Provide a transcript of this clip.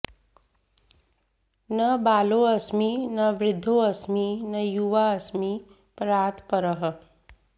न बालोऽस्मि न वृद्धोऽस्मि न युवाऽस्मि परात् परः